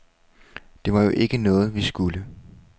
Det var jo ikke noget, vi skulle.